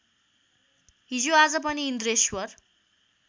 हिजोआज पनि इन्द्रेश्वर